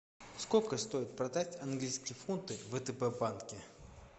сколько стоит продать английские фунты в втб банке